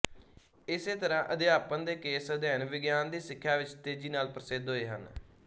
ਇਸੇ ਤਰ੍ਹਾਂ ਅਧਿਆਪਨ ਦੇ ਕੇਸ ਅਧਿਐਨ ਵਿਗਿਆਨ ਦੀ ਸਿੱਖਿਆ ਵਿੱਚ ਤੇਜ਼ੀ ਨਾਲ ਪ੍ਰਸਿੱਧ ਹੋਏ ਹਨ